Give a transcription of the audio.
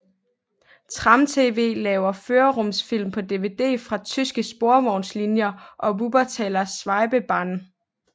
Tram TV laver førerrumsfilm på dvd fra tyske sporvejslinjer og Wuppertaler Schwebebahn